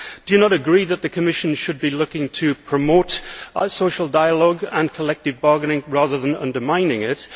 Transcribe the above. Do you not agree that the Commission should be looking to promote social dialogue and collective bargaining rather than undermining it?